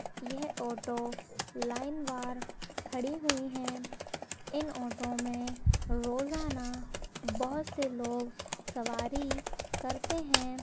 यह auto line बार खडी हुई है इन ऑटो में रोजाना बहोत से लोग सवारी करते हैं।